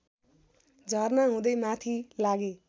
झरना हुँदै माथि लागे